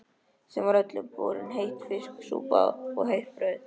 Þeim var öllum borin heit fiskisúpa og heitt brauð.